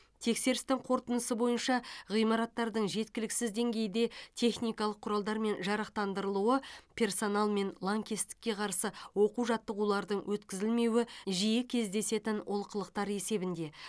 тексерістің қорытындысы бойынша ғимараттардың жеткіліксіз деңгейде техникалық құралдармен жарақтандырылуы персоналмен лаңкестікке қарсы оқу жаттығулардың өткізілмеуі жиі кездесетін олқылықтар есебінде